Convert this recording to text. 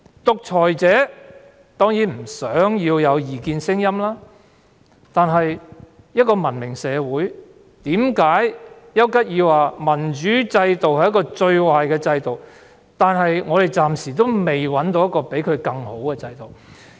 獨裁者當然不想有異見聲音，但一個文明社會......為何邱吉爾說民主制度是個最壞的制度，但我們暫時找不到比它更好的制度呢？